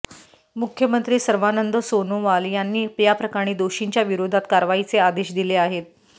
मुख्यमंत्री सर्वानंद सोनोवाल यांनी याप्रकरणी दोषींच्या विरोधात कारवाईचे आदेश दिले आहेत